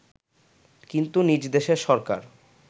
কিন্তু নিজ দেশের সরকার